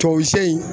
Tuwawuze